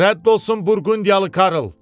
Rədd olsun Burqundiyalı Karl!